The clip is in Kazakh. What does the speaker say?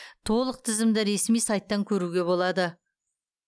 толық тізімді ресми сайттан көруге болады